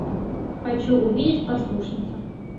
хочу увидеть послушницу